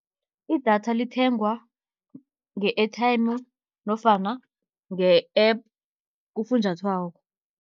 Idatha lithengwa nge-airtime nofana nge-app kufunjathwako.